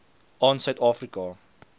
aan suid afrika